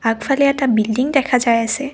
আগফালে এটা বিল্ডিং দেখা যায় আছে।